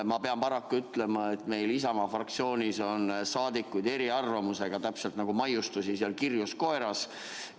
Ma pean paraku ütlema, et meil Isamaa fraktsioonis on saadikutel eriarvamusi nagu maiustusi kirjus koeras.